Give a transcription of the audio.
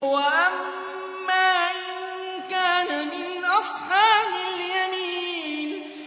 وَأَمَّا إِن كَانَ مِنْ أَصْحَابِ الْيَمِينِ